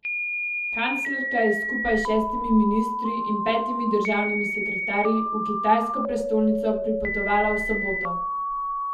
Kanclerka je skupaj s šestimi ministri in petimi državnimi sekretarji v kitajsko prestolnico pripotovala v soboto.